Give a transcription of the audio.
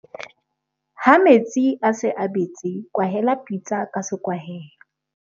ha metsi a se a betse kwahela pitsa ka sekwahelo